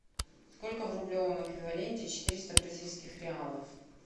сколько в рублевом эквиваленте четыреста бразильских реалов